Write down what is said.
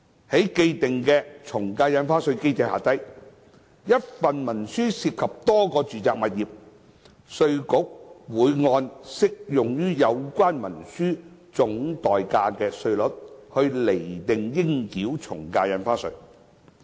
在既定從價印花稅機制下，若一份文書涉及多個住宅物業，稅務局會按適用於有關文書總代價的稅率，釐定應繳的從價印花稅。